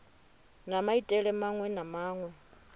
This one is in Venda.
na maitele maṅwe na maṅwe